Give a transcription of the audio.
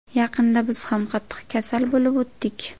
Yaqinda biz ham qattiq kasal bo‘lib o‘tdik.